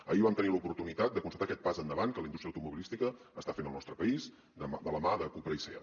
ahir vam tenir l’oportunitat de constatar aquest pas endavant que la indústria automobilística està fent al nostre país de la mà de cupra i seat